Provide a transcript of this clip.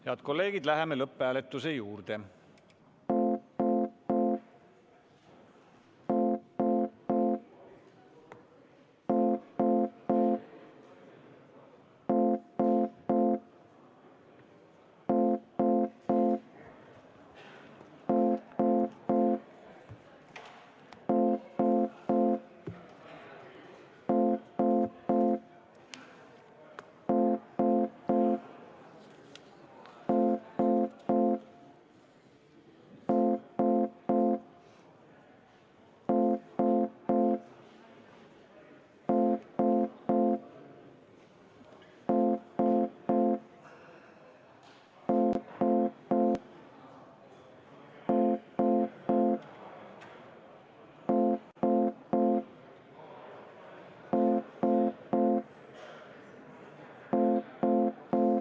Head kolleegid, läheme lõpphääletuse juurde.